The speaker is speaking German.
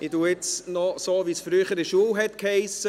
Ich sage es nun noch so, wie es früher in der Schule hiess: